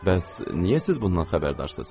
Bəs niyə siz bundan xəbərdarsız?